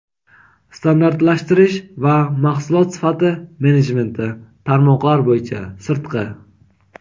standartlashtirish va mahsulot sifati menejmenti (tarmoqlar bo‘yicha)(sirtqi).